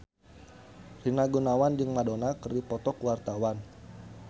Rina Gunawan jeung Madonna keur dipoto ku wartawan